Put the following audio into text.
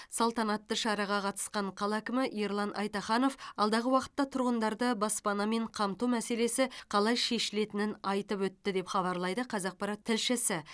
салтанатты шараға қатысқан қала әкімі ерлан айтаханов алдағы уақытта тұрғындарды баспанамен қамту мәселесі қалай шешілетінін айтып өтті деп хабарлайды қазақпарат тілшісі